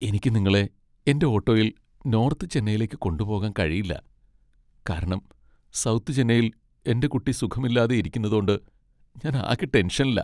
എനിക്ക് നിങ്ങളെ എന്റെ ഓട്ടോയിൽ നോർത്ത് ചെന്നൈയിലേക്ക് കൊണ്ടുപോകാൻ കഴിയില്ല, കാരണം സൗത്ത് ചെന്നൈയിൽ എന്റെ കുട്ടി സുഖമില്ലാതെ ഇരിക്കുന്നതോണ്ട് ഞാൻ ആകെ ടെൻഷനിലാ.